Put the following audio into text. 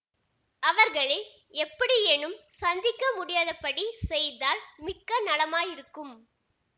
அவர்களை எப்படியேனும் சந்திக்க முடியாதபடி செய்தால் மிக்க நலமாயிருக்கும்